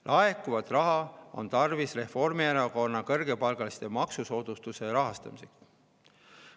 Laekuvat raha on tarvis Reformierakonna soovitud kõrgepalgaliste maksusoodustuse rahastamiseks.